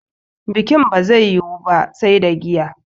Bikin ba zai yiwu ba sai da giya